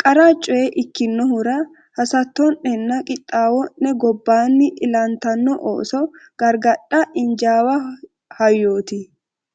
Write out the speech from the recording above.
qara coye ikkinohura hasatto’nenna qixxaawo’ne gobbaanni ilantanno ooso gargadhate injaawa hayyooti.